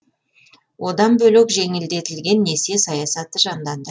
одан бөлек жеңілдетілген несие саясаты жанданды